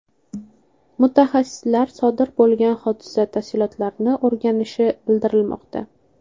Mutaxassislar sodir bo‘lgan hodisa tafsilotlarini o‘rganishi bildirilmoqda.